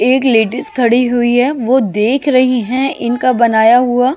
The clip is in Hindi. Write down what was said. एक खड़ी हुई हैवो देख रही हैं इनका बनाया हुआ।